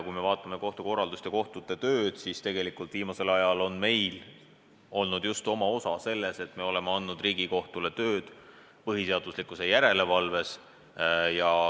Kui me vaatame kohtukorraldust ja kohtute tööd, siis viimasel ajal on meil olnud oma osa just selles, et me oleme andnud Riigikohtule tööd põhiseaduslikkuse järelevalves.